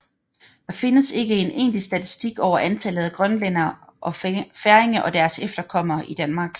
Der findes ikke en egentlig statistik over antallet af grønlændere og færinger og deres efterkommere i Danmark